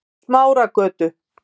Smáragötu